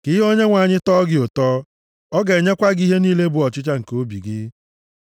Ka ihe Onyenwe anyị tọọ gị ụtọ. Ọ ga-enyekwa gị ihe niile bụ ọchịchọ nke obi gị.